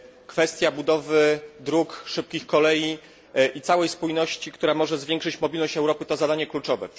Kwestia budowy dróg, szybkich kolei i całej spójności, która może zwiększyć mobilność Europy, to zadanie kluczowe.